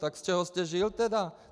Tak z čeho jste žil teda?